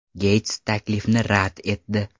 Geyts taklifni rad etdi.